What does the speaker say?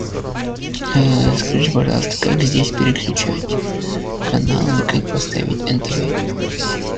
скажите пожалуйста как здесь переключать каналы как поставить нтв